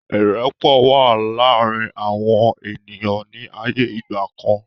Irẹpọ̀ wá láàrín àwọn ènìyàn ní ayé ìgbàkan